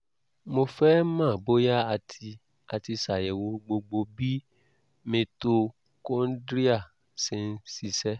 mo fẹ́ mọ̀ bóyá a ti a ti ṣàyẹ̀wò gbogbo bí mitochondria ṣe ń ṣiṣẹ́